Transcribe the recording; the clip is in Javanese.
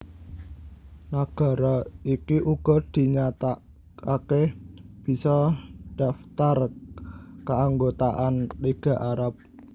Nagara iki uga dinyatakaké bisa ndhaptar kaanggotaan Liga Arab